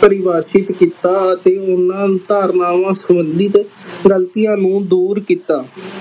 ਪ੍ਰਵਾਚਿਤ ਕੀਤਾ ਅਤੇ ਓਹਨਾ ਧਾਰਨਾਵਾਂ ਸੰਬੰਧਿਤ ਗਲਤੀਆਂ ਨੂੰ ਦੂਰ ਕੀਤਾ।